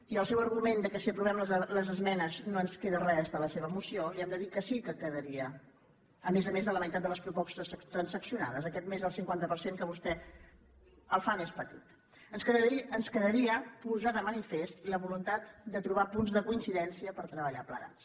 i al seu argument que si aprovem les esmenes no ens queda res de la seva moció li hem de dir que sí que quedaria a més a més de la meitat de les propostes transaccionades aquest més del cinquanta per cent que vostè el fa més petit ens quedaria posar de manifest la voluntat de trobar punts de coincidència per treballar plegats